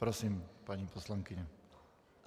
Prosím, paní poslankyně.